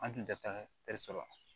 An tun tɛ taa la